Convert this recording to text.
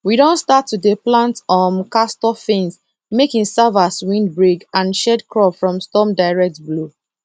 we don start to dey plant um castor fence make e serve as windbreak and shield crop from storm direct blow